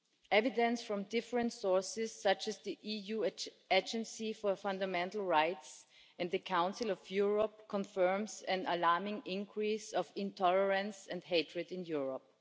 Evidence from different sources, such as the EU Agency for Fundamental Rights and the Council of Europe, confirms an alarming increase in intolerance and hatred in Europe.